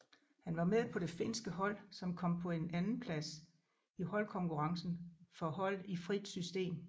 Han var med på det finske hold som kom på en andenplads i holdkonkurrencen for hold i frit system